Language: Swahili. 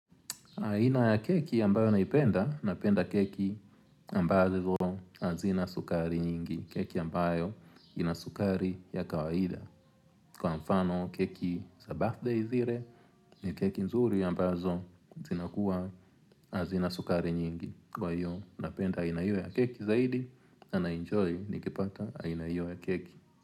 Aina ya keki ambayo naipenda, napenda keki ambazo azina sukari nyingi. Keki ambayo ina sukari ya kawaida. Kwa mfano keki za birthday zire, ni keki nzuri ambazo zina kuwa azina sukari nyingi. Kwa hiyo, napenda inaio ya keki zaidi, na na enjoy nikipata inaio ya keki.